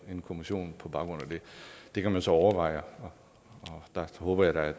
en kommission på baggrund af det det kan man så overveje og der håber jeg